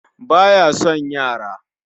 Ba ya son yara